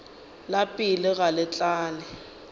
la pelo ga le tlale